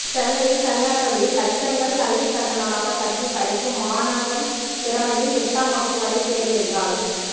சென்னையில் தனியார் பள்ளியில் லட்சங்கள் கல்விக் கட்டணமாகக் கட்டி படிக்கும் மாணவன் திறமையும் எட்டாம் வகுப்பு வரை தேர்வு என்றால்